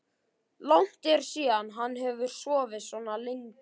Langt er síðan hann hefur sofið svona lengi.